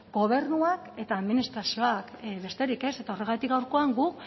gobernuak eta administrazioak eta besterik ez eta horregatik gaurkoan